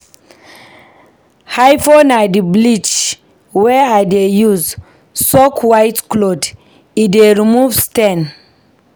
Hypo na di bleach wey I dey use soak white cloth, e dey remove stain.